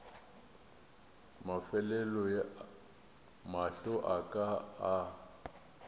mafelelo mahlo a ka a